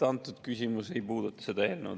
Antud küsimus ei puuduta seda eelnõu.